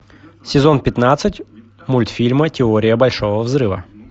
сезон пятнадцать мультфильма теория большого взрыва